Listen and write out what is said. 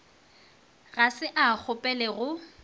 ga se a kgopele go